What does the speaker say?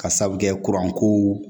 Ka sabu kɛ kow